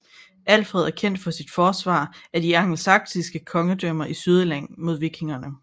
Alfred er kendt for sit forsvar af de angelsaksiske kongedømmer i Sydengland mod vikingerne